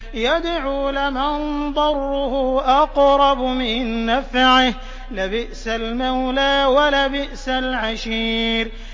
يَدْعُو لَمَن ضَرُّهُ أَقْرَبُ مِن نَّفْعِهِ ۚ لَبِئْسَ الْمَوْلَىٰ وَلَبِئْسَ الْعَشِيرُ